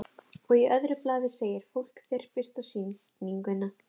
Og í öðru blaði segir: Fólk þyrpist á sýninguna.